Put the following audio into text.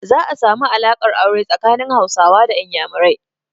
Za a samu alaƙar aure tsakanin Hausawa da Inyamurai.